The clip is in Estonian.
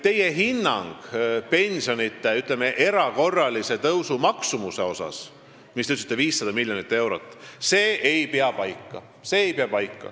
Teie hinnang pensionide erakorralise tõusu maksumusele – te ütlesite, et see on 500 miljonit eurot – ei pea paika.